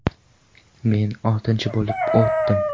Men oltinchi bo‘lib o‘tdim.